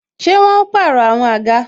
Ṣé wọn ó pàrọ̀ àwọn àga?